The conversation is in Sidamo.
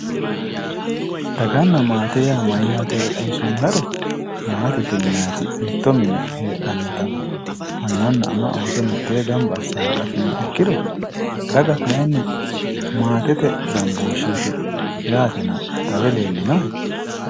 Daganna maate maatiro xawisummohero, maatete yinanniti mitto mine heedhannota annanna ama Ooso mittee gamba asse hanqafinoha ikkiro, daga kayiinni, maatete gambooshsheetina xawe leellinohe.